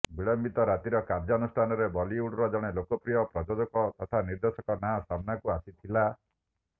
ବିଳମ୍ବିତ ରାତିର କାର୍ଯ୍ୟାନୁଷ୍ଠାନରେ ବଲିଉଡର ଜଣେ ଲୋକପ୍ରିୟ ପ୍ରଯୋଜକ ତଥା ନିର୍ଦ୍ଦେଶକଙ୍କ ନାଁ ସାମ୍ନାକୁ ଆସିଥିଲା